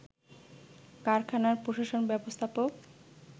কারখানার প্রশাসন ব্যবস্থাপক